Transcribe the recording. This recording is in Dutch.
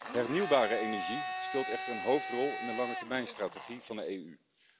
Hernieuwbare energie speelt echter een hoofdrol in de langetermijnstrategie van de EU.